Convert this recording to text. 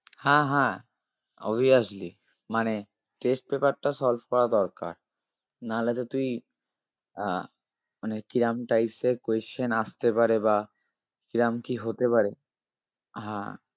হা হা obviously মানে test paper টা solve করা দরকার নাহলে তো তুই আহ মানে কিরম types এর question আসতে পারে বা কিরম কি হতে পারে হা